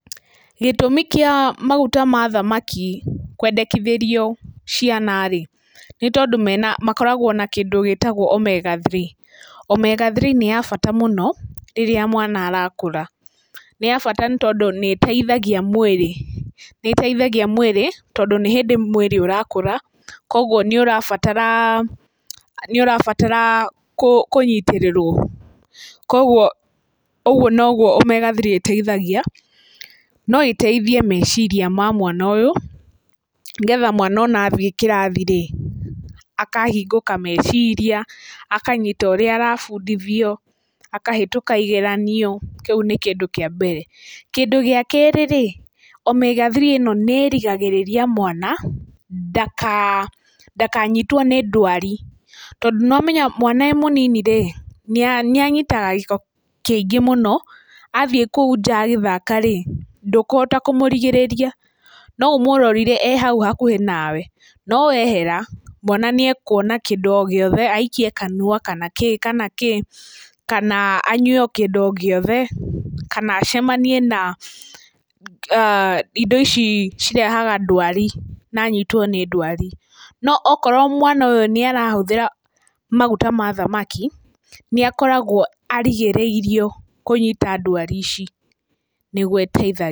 Gĩtũmi kĩa maguta ma thamaki kwendekithĩrio ciana rĩ nĩ tondũ makoragwo na kĩndũ gĩtagwo Omega 3. Omega 3 nĩ ya bata mũno rĩrĩa mwana arakũra. Nĩ ya bata tondũ nĩĩteithagia nĩĩteithagia mwĩrĩ tondũ nĩ hĩndĩ mwĩrĩ ũrakũra, koguo nĩũrabatara nĩũrabatara kũnyitĩrĩrwo koguo ũguo noguo omega 3 ĩteithagia. No ĩteithie meciria ma mwana ũyũ, nĩgetha ona mwana athiĩ kĩrathi-rĩ akahingũka meciria, akanyita ũrĩa arabundithio akahĩtũka igeranio, kĩu nĩ kĩndũ kĩa mbere. Kĩndũ gĩa kerĩ-rĩ omega 3 ĩno nĩĩrigagĩrĩria mwana ndakanyitwo nĩ ndwari tondũ nĩ wamenya mwana arĩ mũnini-rĩ, nĩanyitaga gĩko kĩingĩ mũno athiĩ kũu nja agĩthaka rĩ ndũkũhota kũmũrigĩrĩria no ũmũrorire e hau hakuhĩ nawe, no wehera mwana nĩekuona kĩndũ o gĩothe aikie kanua kana kĩ kana kĩ, kana anyue kĩndũ o gĩothe, kana acemanie na indo ici cirehaga ndwari na anyitwo nĩ ndwari. No akorwo mwana ũyũ nĩarahũthĩra maguta ma thamaki nĩakoragwo arigĩrĩirio kũnyita ndwari ici, nĩguo ĩteithagia.